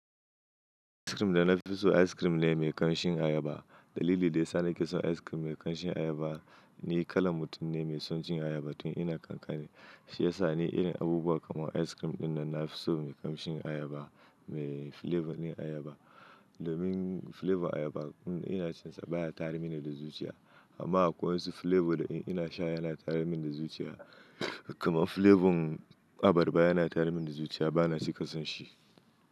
Cikin da na fi so ice cream ne mai ƙanshin ayaba. Dalili da ya sa na ke son ice cream mai ƙanshin ayaba ni kala mutum ne mai son cin ayaba. Tun ina ƙanƙani shi ya sa ni irin abubuwa kamar ice cream ɗinnan na fi so mai ƙanshin ayaba, mai flavor ɗin ayaba. Domin flavor ayaba in ina cin sa baya tayarmini da zuciya. Amma kuwa in su flavor ɗin ina sha yana tayarmin da zuciya, kamar flavor abarba yana tayarmin da zuciya bana cika son shi.